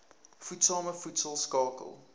voedsame voedsel skakel